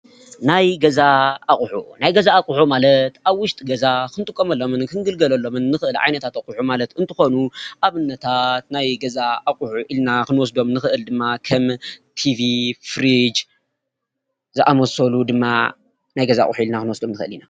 ናይ ገዛ ኣቅሑ ናይ ገዛ ኣቅሑ ማለት ኣብ ውሽጢ ገዛ ክንጥቀመሎምን ክንግልገሎሎምን እንክእል ዓይነታት ኣቅሑ ማለት እንትኮኑ ዓይነታት ናይ ገዛ ኣቅሑ ኢልና ክንወስዶም እንክእል ድማ ከም ቲቪ፣ ፍርጅ፣ እዛምሳሰሉ ድማ ናይ ገዛ ኣቅሑ ኢልና ክንወስዶም ንክእል ኢና፡፡